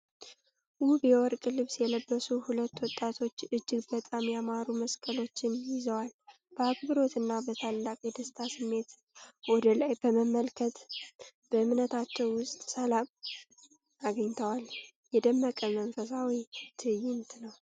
ውብ የወርቅ ልብስ የለበሱ ሁለት ወጣቶች እጅግ በጣም ያማሩ መስቀሎችን ይዘዋል። በአክብሮትና በታላቅ የደስታ ስሜት ወደ ላይ በመመልከት፣ በእምነታቸው ውስጥ ሰላም አግኝተዋል። የደመቀ መንፈሳዊ ትዕይንት ነው።